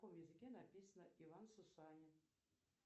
на каком языке написано иван сусанин